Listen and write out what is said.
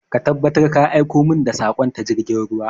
Ka tabbatar ka aiko min da saƙon ta jirgin ruwa!